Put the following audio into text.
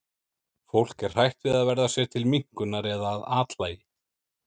Fólk er hrætt við að verða sér til minnkunar eða að athlægi.